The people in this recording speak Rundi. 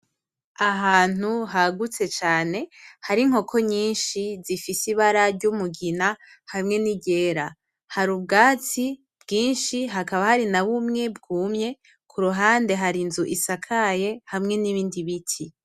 Ahantu hagutse cane harinkoko nyinshi zifise ibara ryumugina hamwe niryera, harubwatsi bwinshi hakaba harinabumwe bwumye, kuruhande harinzu isakaye hamwe nibindi biti.